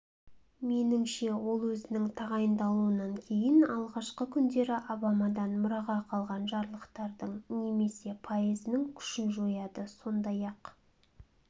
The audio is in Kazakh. меніңше ол өзінің тағайындалуынан кейін алғашқы күндері обамадан мұраға қалған жарлықтардың немесе пайызының күшін жояды сондай-ақ